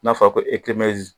N'a fɔra ko